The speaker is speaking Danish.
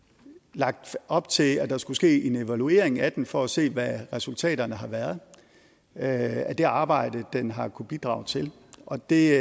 lagt op til at der skulle ske en evaluering af den for at se hvad resultaterne har været af det arbejde den har kunnet bidrage til og det